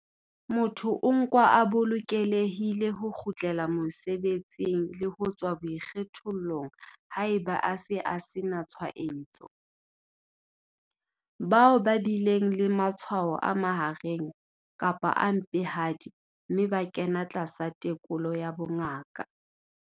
Motho o nkwa a bolokelehile ho kgutlela mosebetsing le ho tswa boikgethollong haeba a se a sena tshwaetso. Bao ba bileng le matshwao a mahareng kapa a mpehadi mme ba kena tlasa tekolo ya bongaka.